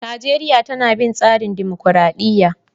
Najeriya tana bin tsarin dumukuradiyya.